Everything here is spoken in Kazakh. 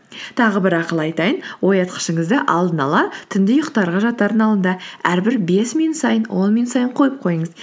тағы бір ақыл айтайын оятқышыңызды алдын ала түнде ұйықтарға жатардың алдында әрбір бес минут сайын он минут сайын қойып қойыңыз